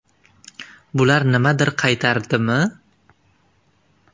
Bular nimadir qaytardimi?